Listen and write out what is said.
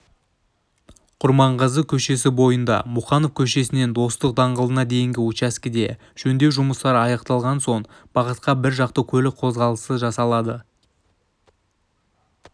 құрманғазы көшесі бойында мұқанов көшесінен достық даңғылына дейінгі учаскеде жөндеу жұмыстары аяқталған соң шығыс бағытта біржақты көлік қозғалысы жасалады